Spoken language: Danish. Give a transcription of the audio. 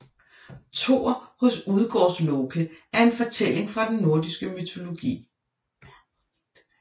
Thor hos Udgårdsloke er en fortælling fra den nordiske mytologi